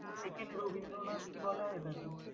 Second Rabindranath কি বলা হয় তাকে?